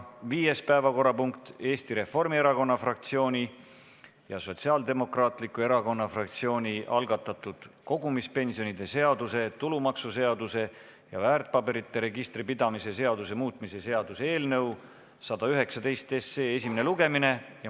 Viies päevakorrapunkt on Eesti Reformierakonna fraktsiooni ja Sotsiaaldemokraatliku Erakonna fraktsiooni algatatud kogumispensionide seaduse, tulumaksuseaduse ja väärtpaberite registri pidamise seaduse muutmise seaduse eelnõu 119 esimene lugemine.